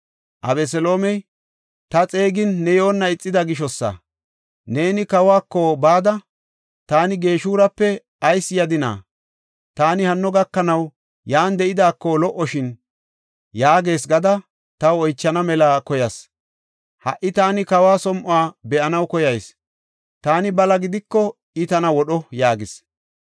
Abeseloomey, “Ta xeegin ne yoonna ixida gishosa. Neeni kawako bada, ‘Taani Geshurape ayis yadina? Taani hanno gakanaw yan de7idaako lo77oshin’ yaagees gada taw oychana mela koyas. Ha77i taani kawa som7o be7anaw koyayis; taani bala gidiko, I tana wodho” yaagis.